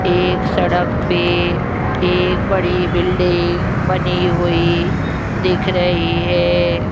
एक सड़क पे एक बड़ी बिल्डिंग बनी हुई दिख रही है।